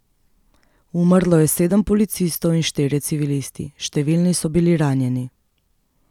Umrlo je sedem policistov in štirje civilisti, številni so bili ranjeni.